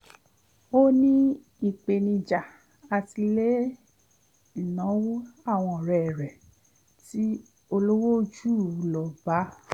ó ní ìpènijà àti lé ìnáwó àwọn ọ̀rẹ́ rẹ̀ tí ólówó jù u lọ bá